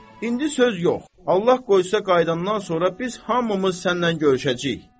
İndi söz yox, Allah qoysa qayıdandan sonra biz hamımız sənlə görüşəcəyik.